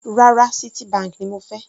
Rárá, Citibank ni mo fẹ́.